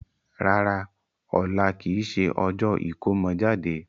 Rárá, ọ̀la kìí ṣe ọjọ́ ìkómọ jáde.